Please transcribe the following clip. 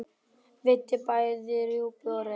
Veiddi bæði rjúpu og ref.